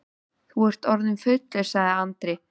Þú ert orðinn fullur, sagði Andri.